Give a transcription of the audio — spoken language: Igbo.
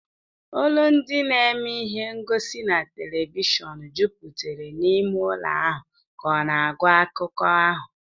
Olu ndi na-eme ihe ngosi na telivishọn jupụtara n'ime ụlọ ahụ ka ọ na-agụ akụkọ ahụ